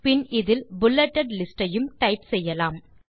பின் இதில் bulleted list ஐயும் type செய்யலாம்